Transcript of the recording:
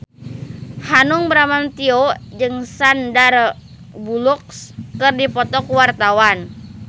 Hanung Bramantyo jeung Sandar Bullock keur dipoto ku wartawan